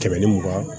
Tɛmɛni mugan